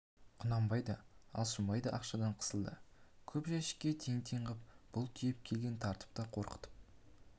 құнанбай да алшынбай да ақшадан қысылды көп жәшікке тең-тең қып бұл тиеп келген тартып та қорқытып